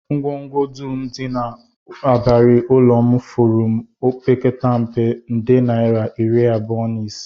Ngwongwo dum dị n'ịbarị ụlọ m furu m opekata mpe, nde naira iri abụọ na ise